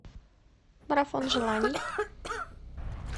марафон желаний